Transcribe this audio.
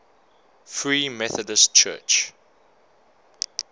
free methodist church